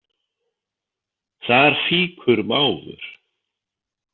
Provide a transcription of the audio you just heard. Þar fýkur mávur.